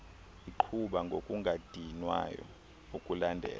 iqhuba ngokungadinwayo ukulandela